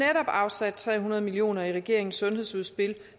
afsat tre hundrede million kroner i regeringens sundhedsudspil